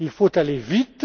de juin. Il faut aller